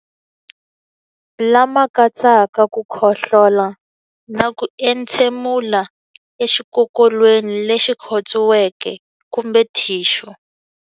Lama katsaka ku khohlola na ku entshemulela exikokolweni lexi khotsiweke kumbe thixu.